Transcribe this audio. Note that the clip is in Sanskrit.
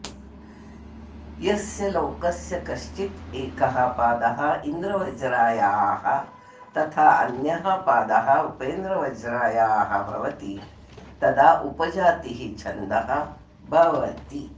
यस्य श्लोकस्य कश्चिद् एकः पादः इन्द्रवज्रायाः तथा अन्यः पादः उपेन्द्रवज्रायाः भवति तदा उपजातिः छन्दः भवति